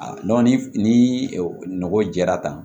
ni nɔgɔ jɛra tan